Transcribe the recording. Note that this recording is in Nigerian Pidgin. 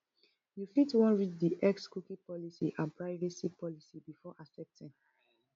you fit wan read di X cookie policy and privacy policy before accepting